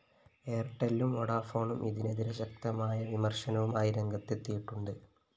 എയര്‍ടെല്ലും വോഡഫോണും ഇതിനെതിരെ ശക്തമായ വിമര്‍ശനവുമായി രംഗത്തെത്തിയിട്ടുണ്ട്